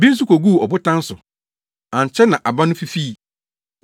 Bi nso koguu ɔbotan so. Ankyɛ na aba no fifii.